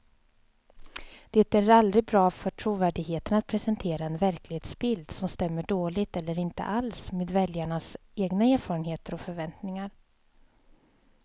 Det är aldrig bra för trovärdigheten att presentera en verklighetsbild som stämmer dåligt eller inte alls med väljarnas egna erfarenheter och förväntningar.